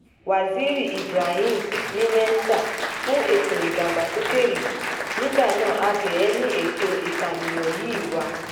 waziri ibrahim ní mẹ́ńsà fún ètò ìdàgbàsókè ìlú nígbà náà abẹ́ ẹ̀ ni ètò ìkànìyàn yìí wà